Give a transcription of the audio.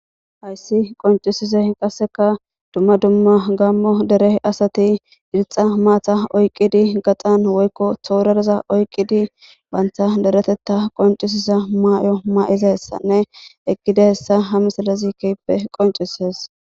hayssi qoncisise qasseka dumma dumma gammo dere asati irixa maata oyqqidi gaxan woykko toorareza oyqqidi bantha deretetta qoncisisa maay7o may7iza hessanne ekida hessa ha misalazi keppe qoncises